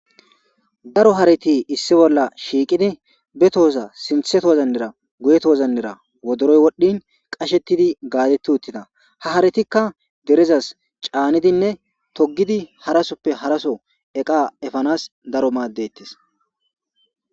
daro harati issi bolla shiiqidi betohoza sintheto wozannira guyeto wozannera wodoroy wodhdhin qashettidi gaadetti uttina ha haratikka gerezas caanidinne togidi harasoppe haraso eqa efanas daro maaddettes